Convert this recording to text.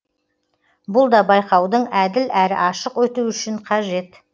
бұл да байқаудың әділ әрі ашық өтуі үшін қажет